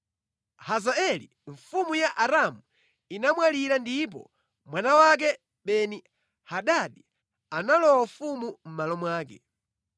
Hazaeli mfumu ya Aramu inamwalira ndipo mwana wake Beni-Hadadi analowa ufumu mʼmalo mwake.